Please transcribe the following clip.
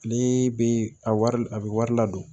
Ne bɛ a wari a bɛ wari ladon